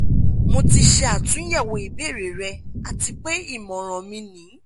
mo ti ṣe atunyẹwo ibeere rẹ ati pe imọran mi ni